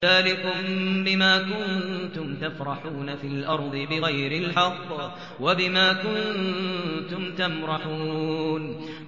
ذَٰلِكُم بِمَا كُنتُمْ تَفْرَحُونَ فِي الْأَرْضِ بِغَيْرِ الْحَقِّ وَبِمَا كُنتُمْ تَمْرَحُونَ